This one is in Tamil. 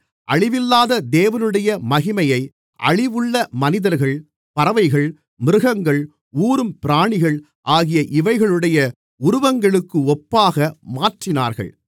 அழிவில்லாத தேவனுடைய மகிமையை அழிவுள்ள மனிதர்கள் பறவைகள் மிருகங்கள் ஊரும் பிராணிகள் ஆகிய இவைகளுடைய உருவங்களுக்கு ஒப்பாக மாற்றினார்கள்